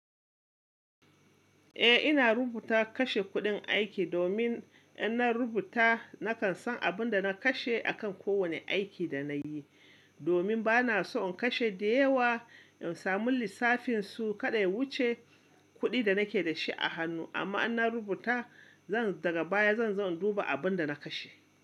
Eh ina rubuta kashe kuɗin aiki domin in na rubuta nakan san abin da na kashe akan kowane aiki da nayi, domin bana so in kashe da yawa in samu lissafin su kaɗai wuce kuɗi da nake da shi a hannu. Amma in na rubuta zan daga baya, zan zo na duba abin da na kashe.